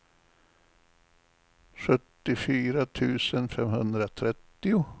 sjuttiofyra tusen femhundratrettio